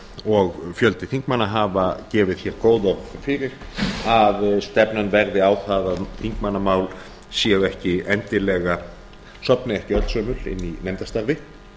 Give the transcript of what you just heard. og fjöldi þingmanna hafa gefið hér góð orð fyrir að stefnan verði á það að þingmannamál sofni ekki öll sömul inni í nefndarstarfi